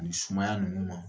Nin sumaya nunu ma